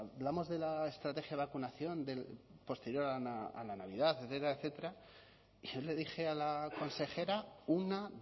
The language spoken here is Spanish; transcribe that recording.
hablamos de la estrategia de vacunación posterior a la navidad etcétera yo le dije a la consejera una